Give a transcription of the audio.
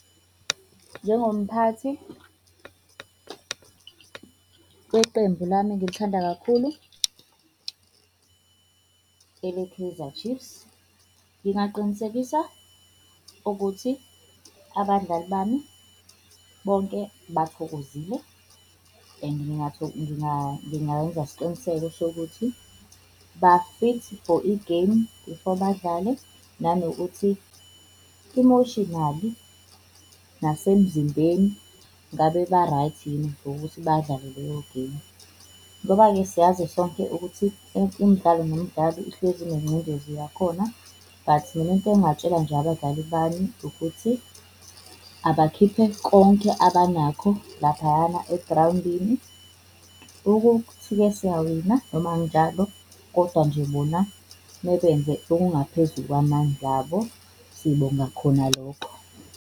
Njengomphathi weqembu lami engilithanda kakhulu eleKaizer Chiefs, ngingaqinisekisa ukuthi abadlali bami bonke bathokozile and ngangingayenza isiqiniseko sokuthi bafithi for igemu before badlale nanokuthi emotionally nasemzimbeni ngabe ba-right yini for ukuthi badlale leyo gemu. Ngoba-ke siyazi sonke ukuthi imidlalo nomdlalo ihlezi inengcindezi yakhona. But mina into engingakutshela nje abadlali bami ukuthi abakhiphe konke abanakho laphayana egrawundini ukuthi ke siyawina noma akunjalo kodwa nje bona mebenza okungaphezu kwamandla abo, sibonga khona lokho.